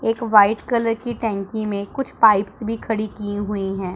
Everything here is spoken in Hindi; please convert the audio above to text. एक वाइट कलर की टंकी में कुछ पाइप्स भी खड़ी की हुई हैं।